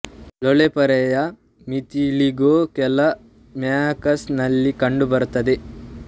ಲೋಳೆ ಪೊರೆಯ ವಿತಿಲಿಗೋ ಕೇವಲ ಮ್ಯೂಕಸ್ ನಲ್ಲಿ ಕಂಡು ಬರುತ್ತದೆ